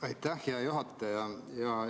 Aitäh, hea juhataja!